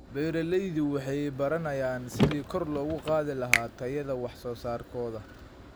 Beeraleydu waxay baranayaan sidii kor loogu qaadi lahaa tayada wax soo saarkooda.